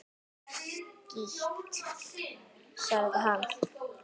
Skítt, sagði hann.